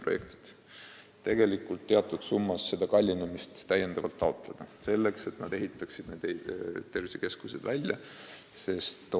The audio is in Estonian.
Nad saavad teatud summas taotleda selle kallinemise katmist, et siiski tervisekeskus välja ehitada.